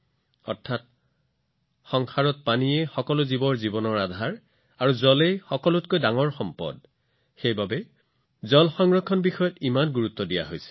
অৰ্থাৎ পৃথিৱীত পানী হৈছে প্ৰতিটো জীৱৰ জীৱনৰ আধাৰ আৰু পানীও আটাইতকৈ ডাঙৰ সম্পদ সেয়েহে আমাৰ পূৰ্বপুৰুষসকলে পানী সংৰক্ষণৰ ওপৰত ইমান গুৰুত্ব আৰোপ কৰিছিল